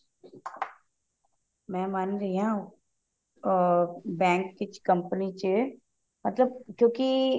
ਮੈਂ ਮੰਨ ਰਹੀ ਹਾਂ ਅਮ bank ਵਿੱਚ company ਚ ਜੋ ਵੀ